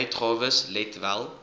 uitgawes let wel